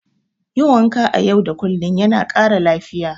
Yin wanka a yau da kullum yana ƙara lafiya.